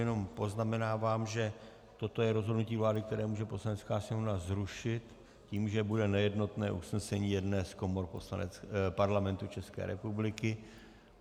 Jenom poznamenávám, že toto je rozhodnutí vlády, které může Poslanecká sněmovna zrušit tím, že bude nejednotné usnesení jedné z komor Parlamentu České republiky.